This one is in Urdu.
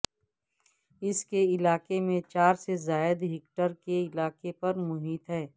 اس کے علاقے میں چار سے زائد ہیکٹر کے علاقے پر محیط ہے